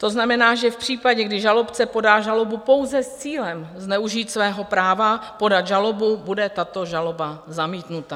To znamená, že v případě, kdy žalobce podá žalobu pouze s cílem zneužít svého práva podat žalobu, bude tato žaloba zamítnuta.